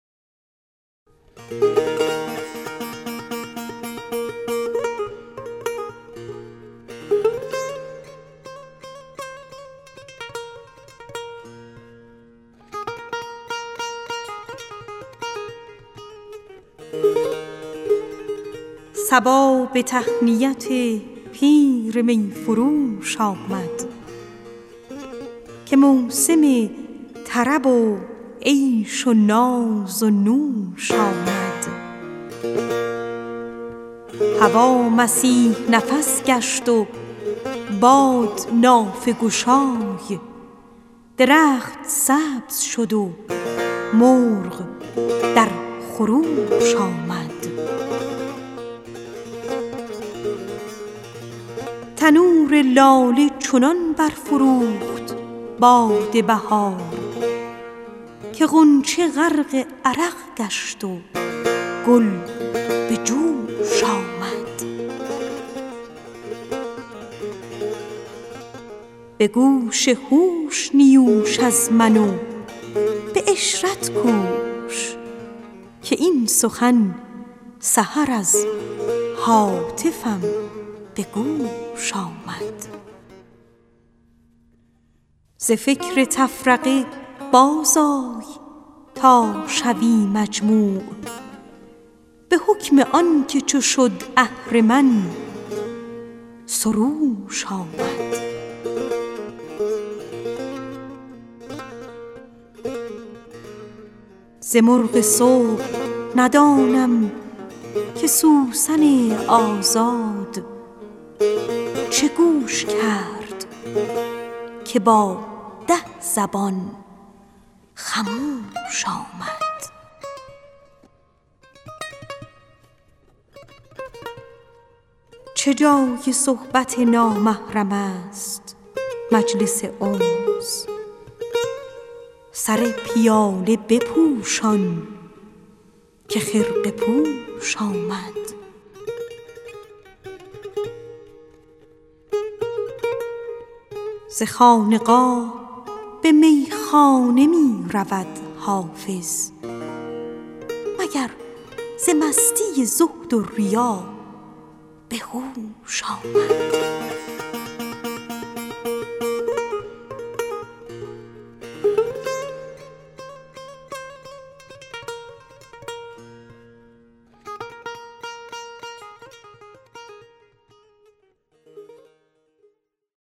صبا به تهنیت پیر می فروش آمد که موسم طرب و عیش و ناز و نوش آمد هوا مسیح نفس گشت و باد نافه گشای درخت سبز شد و مرغ در خروش آمد تنور لاله چنان برفروخت باد بهار که غنچه غرق عرق گشت و گل به جوش آمد به گوش هوش نیوش از من و به عشرت کوش که این سخن سحر از هاتفم به گوش آمد ز فکر تفرقه بازآی تا شوی مجموع به حکم آن که چو شد اهرمن سروش آمد ز مرغ صبح ندانم که سوسن آزاد چه گوش کرد که با ده زبان خموش آمد چه جای صحبت نامحرم است مجلس انس سر پیاله بپوشان که خرقه پوش آمد ز خانقاه به میخانه می رود حافظ مگر ز مستی زهد ریا به هوش آمد